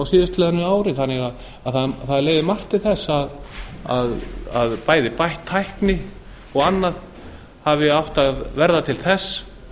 síðastliðnu ári þannig að það leiðir margt til þess að bæði bætt tækni og annað hafi átt að verða til þess